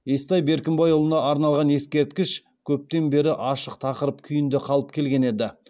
естай беркімбайұлына арналған ескерткіш көптен бері ашық тақырып күйінде қалып келген еді